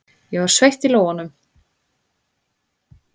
Ég var sveitt í lófunum.